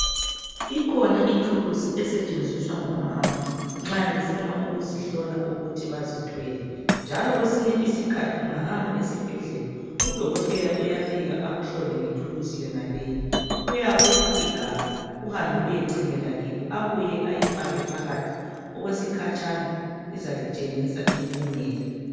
ikhona ithulusi esetshenziswa ngomama nxa befuna ukuzihlola ukuthi bazithwele njalo kwesine isikhathi ungahamba esibhedlela u dokotela uyafika akuhlole ngethulusi yonaleyi uyakupha igabha uhambe uyechemela phakathi kilo ubuye ulifake okwekhatshana izalitshengisa impumela